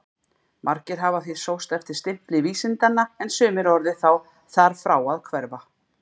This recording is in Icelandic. Margir hafa því sóst eftir stimpli vísindanna en sumir orðið þar frá að hverfa.